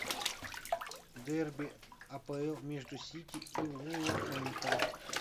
дерби апл между сити и вулверхэмптон